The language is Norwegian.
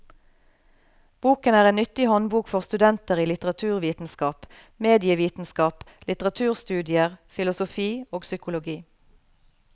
Boken er en nyttig håndbok for studenter i litteraturvitenskap, medievitenskap, litteraturstudier, filosofi og psykologi.